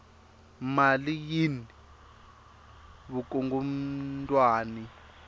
mali yini vukungundwani